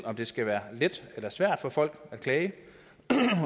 om det skal være let eller svært for folk at klage